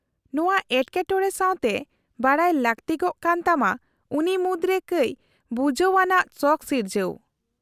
-ᱱᱚᱶᱟ ᱮᱴᱠᱮᱴᱚᱬᱮ ᱥᱟᱶᱛᱮ ᱵᱟᱰᱟᱭ ᱞᱟᱹᱠᱛᱤᱜ ᱠᱟᱱ ᱛᱟᱢᱟ ᱩᱱᱤ ᱢᱩᱫᱽᱨᱮ ᱠᱟᱹᱪ ᱵᱷᱩᱡᱷᱟᱹᱣ ᱟᱱᱟᱜ ᱥᱚᱠᱷ ᱥᱤᱨᱡᱟᱹᱣ ᱾